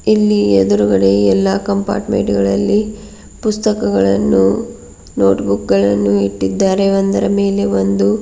ಇಲ್ಲಿ ಎದುರುಗಡೆ ಎಲ್ಲಾ ಕಂಪಾರ್ಟ್ಮೆಂಟ್ ಗಳಲ್ಲಿ ಪುಸ್ತಕಗಳನ್ನು ನೋಟ್ ಬುಕ್ ಗಳನ್ನು ಇಟ್ಟಿದ್ದಾರೆ ಒಂದರ ಮೇಲೆ ಒಂದು.